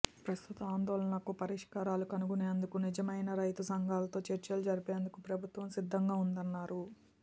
ప్రస్తుత ఆందోళనలకు పరిష్కారాలు కనుగొనేందుకు నిజమైన రైతు సంఘాలతో చర్చలు జరిపేందుకు ప్రభుత్వం సిద్ధంగా ఉందన్నారు